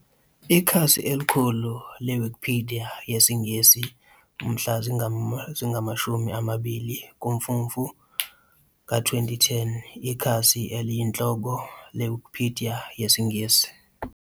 Ikhasi elikhulu leWikipidiya yesiNgisi mhla zinga 20 kuMfumfu ka 2010, IKhasi eliyinhloko leWikipidiya yesiNgisi.